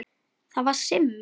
Það var Simmi.